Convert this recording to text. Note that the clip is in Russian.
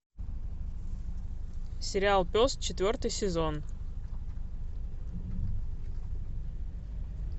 сериал пес четвертый сезон